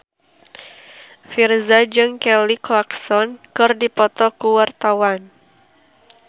Virzha jeung Kelly Clarkson keur dipoto ku wartawan